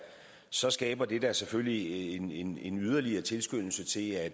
så skaber det da selvfølgelig en yderligere tilskyndelse til at